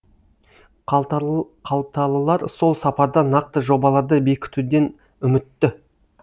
қалталылар сол сапарда нақты жобаларды бекітуден үмітті